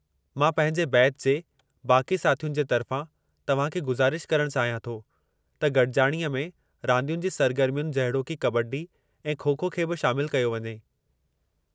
मां पंहिंजे बैच जे बाक़ी साथियुनि जे तर्फ़ां तव्हां खे गुज़ारिश करणु चाहियां थो त गॾिजाणीअ में रांदियुनि जी सरगर्मियुनि जहिड़ोकि कबड्डी ऐं खो-खो खे बि शामिलु कयो वञे।